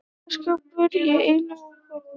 Fataskápur í einu horninu.